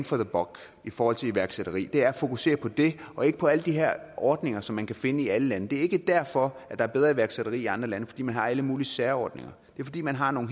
for the buck i forhold til iværksætteri det er at fokusere på det og ikke på alle de her ordninger som man kan finde i alle lande det er ikke derfor der er bedre iværksætteri i andre lande altså fordi man har alle mulige særordninger det er fordi man har nogle